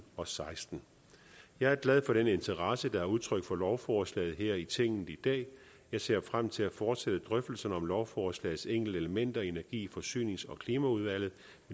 og seksten jeg er glad for den interesse der er udtrykt for lovforslaget her i tinget i dag jeg ser frem til at fortsætte drøftelserne om lovforslagets enkelte elementer i energi forsynings og klimaudvalget